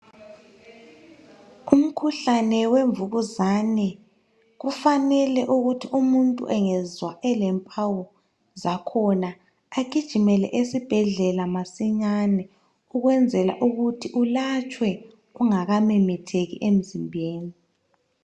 Umkhuhlane wemvukuzane kufanele ukuthi umuntu engezwa elempawu zakhona agijimele esibhedlela masinyane ukwenzela ukuthi ulatshwe ungakamemetheki emzimbeni.